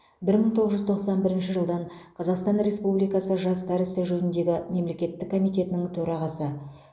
бір мың тоғыз жүз тоқсан бірінші жылдан қазақстан республикасы жастар ісі жөніндегі мемлекеттік комитетінің төрағасы